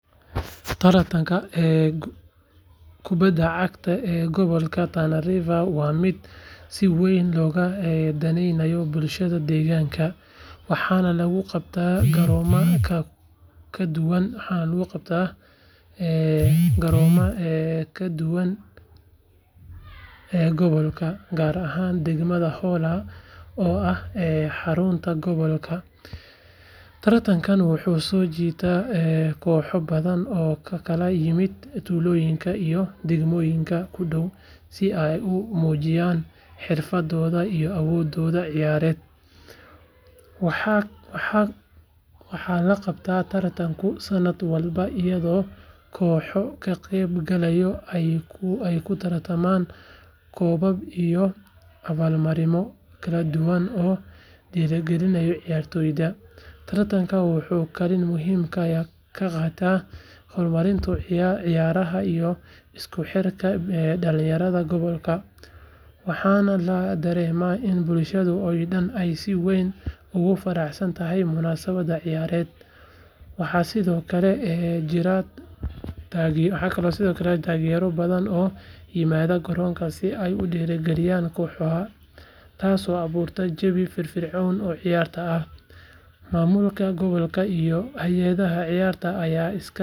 Tartanka kubadda cagta ee Gobolka Tana River waa mid si weyn looga daneeyo bulshada deegaanka waxaana lagu qabtaa garoomada kala duwan ee gobolka, gaar ahaan degmada Hola oo ah xarunta gobolka. Tartankan wuxuu soo jiitaa kooxo badan oo ka kala yimaada tuulooyinka iyo degmooyinka ku dhow si ay u muujiyaan xirfaddooda iyo awoodooda ciyaareed. Waxaa la qabtaa tartankan sanad walba iyadoo kooxaha ka qeyb gala ay ku tartamaan koobab iyo abaalmarino kala duwan oo dhiirrigeliya ciyaartoyda. Tartanka wuxuu kaalin muhiim ah ka qaataa horumarinta ciyaaraha iyo isku xirka dhalinyarada gobolka, waxaana la dareemaa in bulshada oo dhan ay si weyn ugu faraxsan tahay munaasabaddan ciyaareed. Waxaa sidoo kale jira taageerayaal badan oo yimaada garoonka si ay u dhiirrigeliyaan kooxahooda, taasoo abuurta jawi firfircoon oo ciyaarta ah. Maamulka gobolka iyo hay’adaha ciyaaraha ayaa iska kaashanaya.